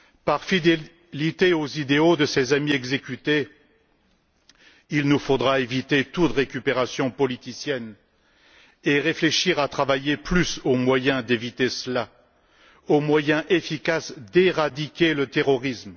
Par fidélité aux idéaux de ces amis exécutés, il nous faudra éviter toute récupération politicienne et réfléchir à travailler plus aux moyens d'éviter cela, aux moyens efficaces d'éradiquer le terrorisme.